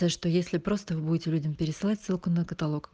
то что если просто вы будете людям пересылать ссылку на каталог